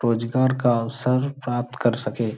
रोजगार का अवसर प्राप्त कर सके।